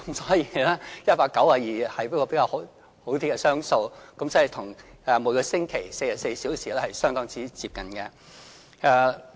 所以 ，"192" 是一個較好的雙數，與每星期44小時相當接近。